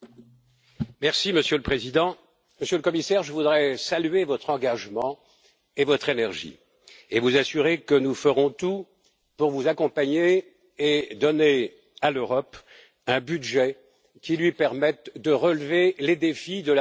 Monsieur le Président, Monsieur le Commissaire, je voudrais saluer votre engagement et votre énergie, et vous assurer que nous ferons tout pour vous accompagner et donner à l'Europe un budget qui lui permette de relever les défis de la mondialisation.